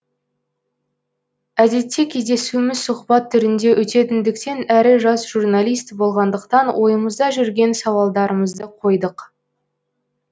әдетте кездесуіміз сұхбат түрінде өтетіндіктен әрі жас журналист болғандықтан ойымызда жүрген сауалдарымызды қойдық